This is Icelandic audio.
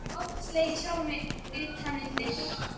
Oft slegið sjálfan mig utan undir.